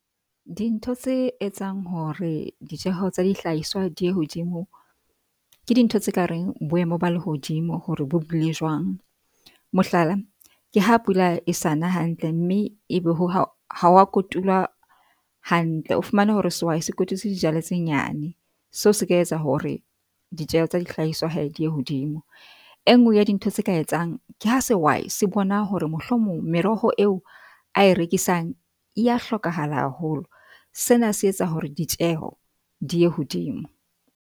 Dintho tse etsang hore dijeho tsa dihlahiswa di ye hodimo ke dintho tse kareng boemo ba lehodimo hore bo bile jwang. Mohlala, ke ha pula e sa na hantle mme ebe ho ha ha wa kotulwa hantle. O fumane hore sehwai se kotutse dijalo tse nyane. Seo se ka etsa hore ditjeho tsa dihlahiswa hee di ye hodimo. E nngwe ya dintho tse ka etsang ke ha sehwai se bona hore mohlomong meroho eo ae rekisang e ya hlokahala haholo sena se etsa hore ditjeho di ye hodimo.